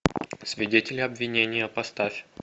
свидетели обвинения поставь